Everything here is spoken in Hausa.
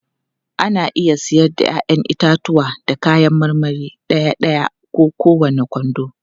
Ana iya siyar da 'ya'yan itatuwa da kayan marmari ɗaya-ɗaya ko kowane kwando.